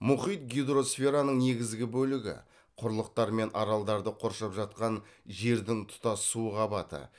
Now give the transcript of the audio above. мұхит гидросфераның негізгі бөлігі құрлықтар мен аралдарды қоршап жатқан жердің тұтас су қабаты